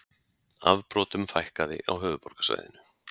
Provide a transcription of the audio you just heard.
Afbrotum fækkaði á höfuðborgarsvæðinu